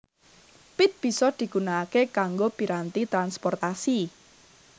Pit bisa digunakake kanggo piranti transportasi